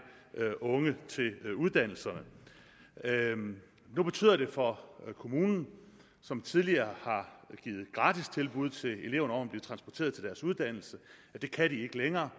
unge til uddannelserne nu betyder det for kommunen som tidligere har givet gratis tilbud til eleverne om at blive transporteret til deres uddannelse at de ikke længere